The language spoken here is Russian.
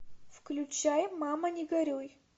включай мама не горюй